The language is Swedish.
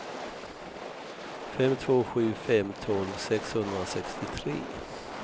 fem två sju fem tolv sexhundrasextiotre